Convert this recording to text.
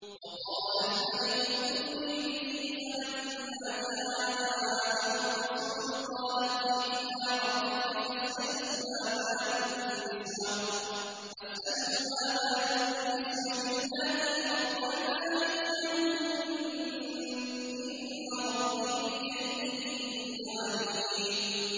وَقَالَ الْمَلِكُ ائْتُونِي بِهِ ۖ فَلَمَّا جَاءَهُ الرَّسُولُ قَالَ ارْجِعْ إِلَىٰ رَبِّكَ فَاسْأَلْهُ مَا بَالُ النِّسْوَةِ اللَّاتِي قَطَّعْنَ أَيْدِيَهُنَّ ۚ إِنَّ رَبِّي بِكَيْدِهِنَّ عَلِيمٌ